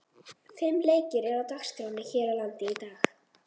Fimm leikir eru á dagskránni hér á landi í dag.